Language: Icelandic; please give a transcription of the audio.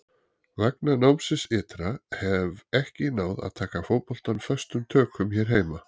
Vegna námsins ytra hef ekki náð að taka fótboltann föstum tökum hér heima.